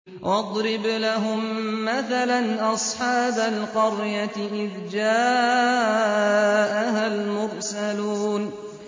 وَاضْرِبْ لَهُم مَّثَلًا أَصْحَابَ الْقَرْيَةِ إِذْ جَاءَهَا الْمُرْسَلُونَ